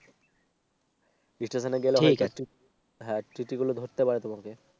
Station হ্যাঁ TT গুলো ধরতে পারে তোমাকে